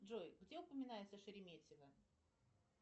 джой где упоминается шереметьево